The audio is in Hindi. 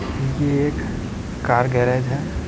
ये एक कार गैरेज है।